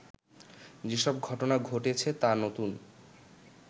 যেসব ঘটনা ঘটেছে তা নতুন